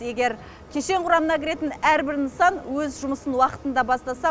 егер кешен құрамына кіретін әр бір нысан өз жұмысын уақытында бастаса